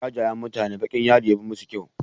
Jajayen mutane baƙin yadi yafi musu kyau.